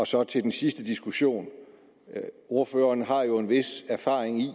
så til den sidste diskussion ordføreren har jo en vis erfaring i